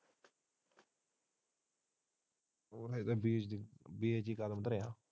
ਹੋਰ ਅੱਜੇ B H D form ਭਰਿਆ।